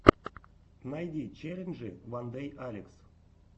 найди челленджи вандэйалекс